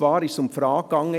Es ging um die Frage: